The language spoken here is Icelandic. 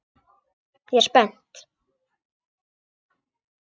Ég er spennt.